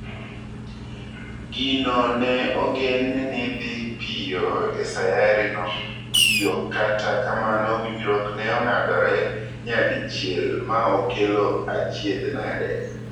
Gino ne ogen ni dhii piyo e sayari no tio kata kamano winjruok ne ong'adore nyadichiel ma okelo achiedh nade.